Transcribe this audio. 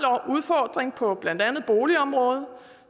udfordring på blandt andet boligområdet